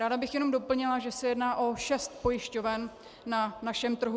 Ráda bych jenom doplnila, že se jedná o šest pojišťoven na našem trhu.